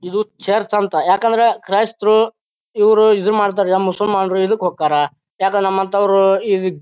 ಇದು ಚರ್ಚ್ ಅಂತ ಯಾಕಂದ್ರೆ ಕ್ರೈಸ್ತರು ಇವ್ರು ಇದು ಮಾಡ್ತಾರೆ ಮುಸಲ್ಮಾನರು ಇದಕ್ ಹೋಗ್ತಾರಾ ಯಾಕ ನಮಂತವರು--